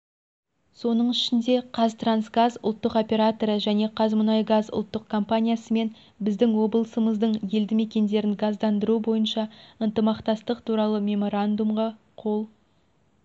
соның ішінде қазтрансгаз ұлттық операторы және қазмұнайгаз ұлттық компаниясымен біздің облысымыздың елді мекендерін газдандыру бойынша ынтымақтастық туралы меморандумға қол